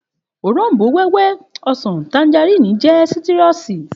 Òrombó-wẹ́wẹ́, ọsàn, tanjarínnì jẹ́ sáítírùsì